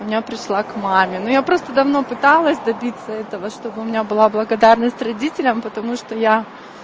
я пришла к маме но я просто давно пыталась добиться этого чтобы у меня была благодарность родителям потому что я